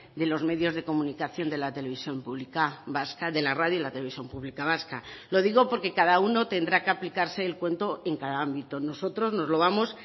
de los medios de comunicación de la televisión pública vasca de la radio y la televisión pública vasca lo digo porque cada uno tendrá que aplicarse el cuento en cada ámbito nosotros nos lo vamos